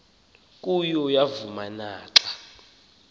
kuyo yavuma naxa